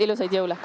Suur aitäh!